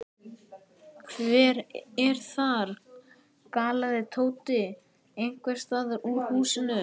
Hver er þar? galaði Tóti einhvers staðar úr húsinu.